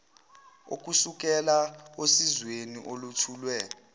okusukela osizweni olwethulwe